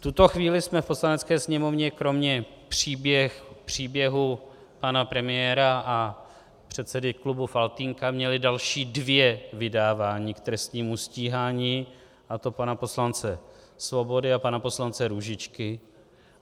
V tuto chvíli jsme v Poslanecké sněmovně kromě příběhu pana premiéra a předsedy klubu Faltýnka měli další dvě vydávání k trestnímu stíhání, a to pana poslance Svobody a pana poslance Růžičky.